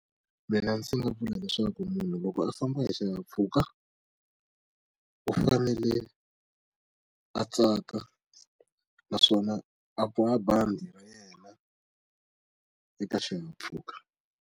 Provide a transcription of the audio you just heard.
Mina ndzi nga vula leswaku munhu loko a famba hi xihahampfhuka u fanele a tsaka naswona a boha bandi ra yena eka xihahampfhuka.